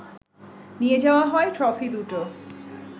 নিয়ে যাওয়া হয় ট্রফি দুটো